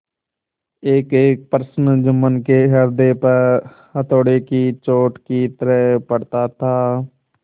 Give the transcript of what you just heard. एकएक प्रश्न जुम्मन के हृदय पर हथौड़े की चोट की तरह पड़ता था